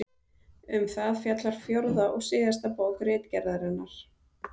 Um það fjallar fjórða og síðasta bók Ritgerðarinnar.